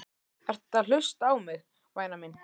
Ertu að hlusta á mig, væna mín?